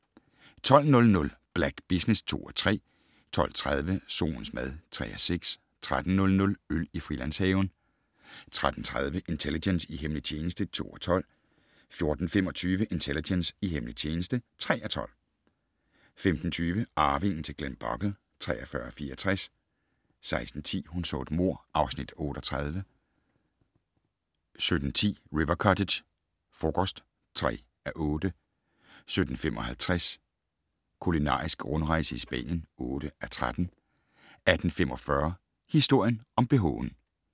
12:00: Black Business (2:3) 12:30: Solens mad (3:6) 13:00: Øl i Frilandshaven 13:30: Intelligence - i hemmelig tjeneste (2:12) 14:25: Intelligence - i hemmelig tjeneste (3:12) 15:20: Arvingen til Glenbogle (43:64) 16:10: Hun så et mord (Afs. 38) 17:10: River Cottage - frokost (3:8) 17:55: Kulinarisk rundrejse i Spanien (8:13) 18:45: Historien om bh'en